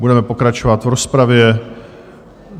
Budeme pokračovat v rozpravě.